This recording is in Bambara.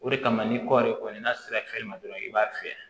O de kama ni kɔɔri kɔni n'a sera fiyɛli ma dɔrɔn i b'a fiyɛ